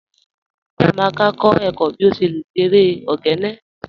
Chíamaka n kọ ẹ̀kọ̀ bí o ṣé lẹ̀ ṣé èrè ogene